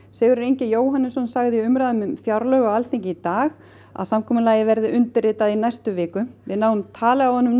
Sigurður Ingi Jóhannsson sagði í umræðum um á Alþingi í dag að samkomulagið verði undirritað í næstu viku við náðum tali af honum